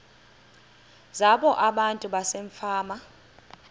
zabo abantu basefama